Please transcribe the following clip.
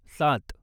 सात